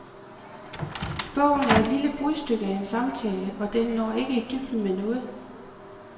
Bogen er et lille brudstykke af en samtale, og den når ikke i dybden med noget.